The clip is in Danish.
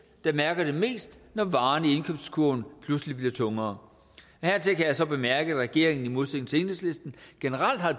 der mærker det mest når varerne i indkøbskurven pludselig bliver tungere hertil kan jeg så bemærke at regeringen i modsætning til enhedslisten generelt har